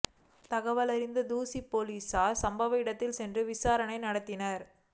தகவலறிந்த தூசி போலீசார் சம்பவ இடத்திற்கு சென்று விசாரணை நடத்தினர்